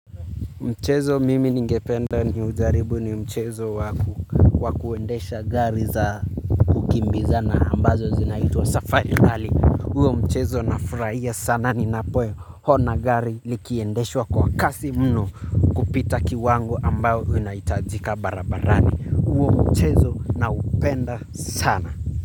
Mchezo mimi ningependa ni ujaribu ni mchezo waku wa kuendesha gari za kukimbizana ambazo zinaituwa safari rali. Huo mchezo na furaia sana ni napo ona gari likiendeshwa kwa kasi mno kupita kiwango ambayo inaitajika barabarani huo mchezo naupenda sana.